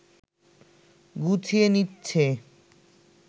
গুছিয়ে নিচ্ছে